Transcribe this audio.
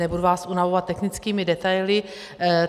Nebudu vás unavovat technickými detaily.